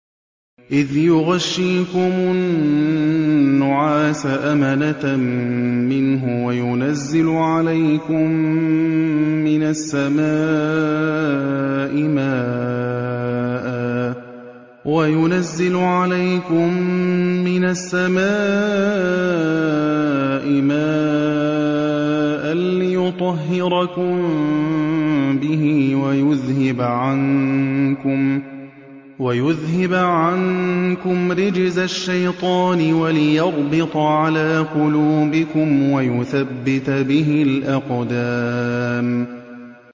إِذْ يُغَشِّيكُمُ النُّعَاسَ أَمَنَةً مِّنْهُ وَيُنَزِّلُ عَلَيْكُم مِّنَ السَّمَاءِ مَاءً لِّيُطَهِّرَكُم بِهِ وَيُذْهِبَ عَنكُمْ رِجْزَ الشَّيْطَانِ وَلِيَرْبِطَ عَلَىٰ قُلُوبِكُمْ وَيُثَبِّتَ بِهِ الْأَقْدَامَ